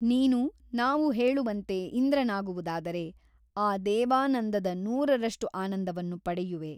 ನೀನು ನಾವು ಹೇಳುವಂತೆ ಇಂದ್ರನಾಗುವುದಾದರೆ ಆ ದೇವಾನಂದದ ನೂರರಷ್ಟು ಆನಂದವನ್ನು ಪಡೆಯುವೆ.